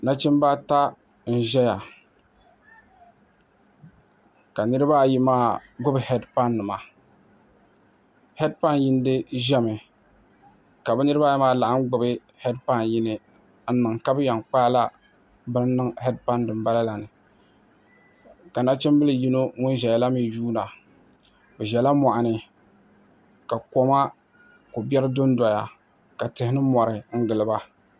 Nachimbi ata n ʒɛya ka niraba ayi maa gbuni heed pai nima heed pai yindi ʒɛmi ka bi niraba ayi maa laɣam gbuni heed pai yini n niŋ ka bi yɛn kpaala bin niŋ heed pai din bala la ni ka nachimbili yimo ŋun ʒɛya la mii yuunda bi ʒɛla moɣani ka ko biɛri dondoya ka tihi ni mori giliba